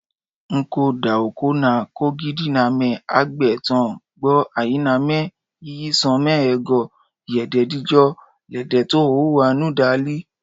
N’ko doakọnna kọgbidinamẹ hagbẹ tọn gbọn ayinamẹ yíyí sọn mẹhe go yè dejido lẹ dè to hohowhenu dali